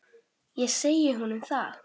Ég segi honum það.